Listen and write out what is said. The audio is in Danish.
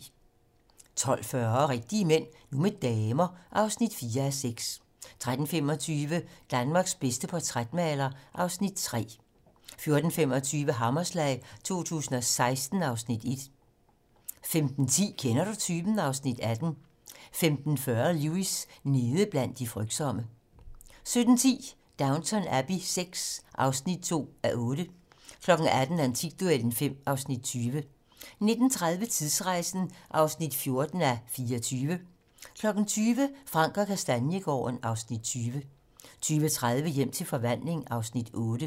12:40: Rigtige mænd - nu med damer (4:6) 13:25: Danmarks bedste portrætmaler (Afs. 3) 14:25: Hammerslag 2016 (Afs. 1) 15:10: Kender du typen? (Afs. 18) 15:40: Lewis: Nede blandt de frygtsomme 17:10: Downton Abbey VI (2:8) 18:00: Antikduellen (5:20) 19:35: Tidsrejsen (14:24) 20:00: Frank & Kastaniegaarden (Afs. 20) 20:30: Hjem til forvandling (Afs. 8)